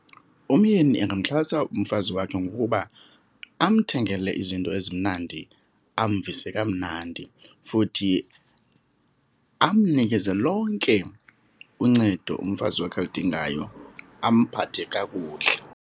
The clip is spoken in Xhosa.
Umyeni angaxhasa umfazi wakhe ngokuba amthengele izinto ezimnandi, amvise kamnandi. Futhi amnikeze lonke uncedo umfazi wakhe alidingayo, amphathe kakuhle.